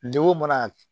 Degun mana